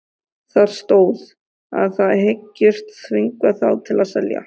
Það stóð, að þið hygðust þvinga þá til að selja